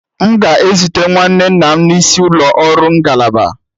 M ga-ezute nwanne nna m n'isi ụlọ ọrụ ngalaba